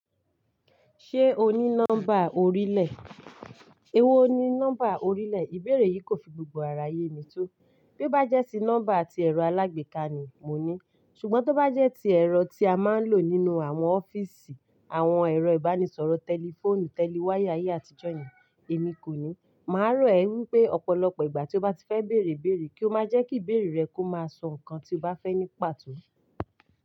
Ṣé o ní nọ́mbà orílẹ̀? Ewó ni nọ́mbà orílẹ̀, ìbéèrè yìí kò fi gbogbo àrà yé mi tó. Bí o bá jẹ́ sí nọ́mbà tí ẹ̀rọ alágbèéká ni mo ní, ṣùgbọ́n tó bá jẹ́ tí ẹ̀rọ tí a máa ń lò nínú àwọn ọ́fíìsì, àwọn ẹ̀rọ ìbánisọ̀rọ̀ tẹlifóònù, tẹliwaya ayé àtijọ́ yẹn, èmi kò ní. Màá rọ̀ ẹ wípé ọ̀pọ̀lọpọ̀ ìgbà tí o bá ti fẹ́ bèèrè bèèrè kí o má jẹ́ kí ìbéèrè rẹ kó máa sọ nǹkan tí o bá fẹ́ ní pàtó.